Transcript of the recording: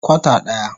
Kwata daya.